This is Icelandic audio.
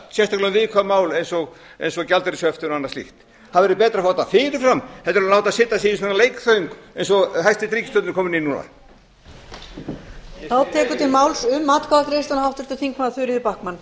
um viðkvæm mál eins og gjaldeyrishöftin og annað slíkt það væri betra að fá þetta fyrir fram heldur en láta setja sig í svona xxxxx eins og hæstvirt ríkisstjórn er komin í núna